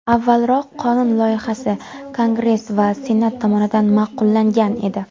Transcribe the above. Avvalroq qonun loyihasi Kongress va Senat tomonidan ma’qullangan edi.